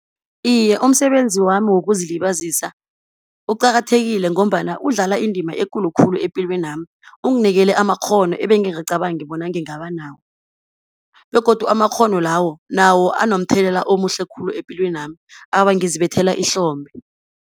Iye umsebenzi wami wokuzilibazisa uqakathekile ngombana, udlala indima ekulu khulu epilweni yami. Unginikele amakghono ebengingacabangi bona ngingaba nawo, begodu amakghono lawo nawo anomthelela omuhle khulu epilweni yami. Awa, ngizibethela ihlombe.